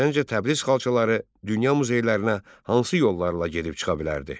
Səncə Təbriz xalçaları dünya muzeylərinə hansı yollarla gedib çıxa bilərdi?